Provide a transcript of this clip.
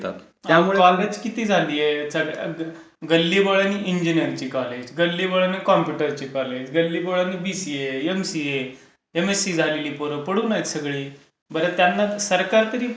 College किती झालीयत. गल्ली बोळात इंजीनीरिंगची कॉलेज, गल्ली बोळात कम्प्युटरची कॉलेज, गल्ली बोळात बीसीए, एमसीए, एमएससी झालेली पोरं पडून आहेत सगळी. बरं, त्यांना तरी सरकार...